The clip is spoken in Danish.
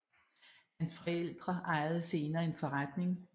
Hans forældre ejede senere en forretning